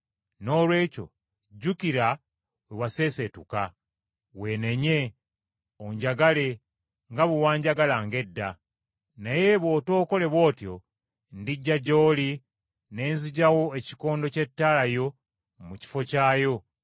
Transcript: Noolwekyo jjukira we waseeseetuka. Weenenye, onjagale nga bwe wanjagalanga edda. Naye bw’otookole bw’otyo ndijja gy’oli ne nzigyawo ekikondo ky’ettaala yo mu kifo kyakyo, okuggyako nga weenenya.